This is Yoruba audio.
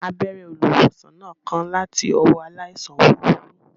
Abẹ́rẹ́ olùwòsàn náà kán láti ọwọ́ aláìsàn wúruwùru